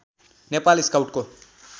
Nepal स्काउटको